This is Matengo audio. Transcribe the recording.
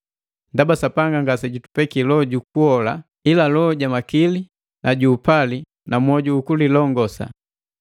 Ndaba Sapanga ngasejutupekia Loho juku kuhola ila loho ja makili ju upali na mwoju ukulilongosa.